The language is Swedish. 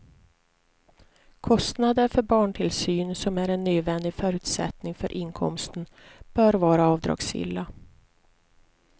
Kostnader för barntillsyn som är en nödvändig förutsättning för inkomsten bör vara avdragsgilla.